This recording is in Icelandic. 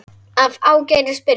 Af Ágætis byrjun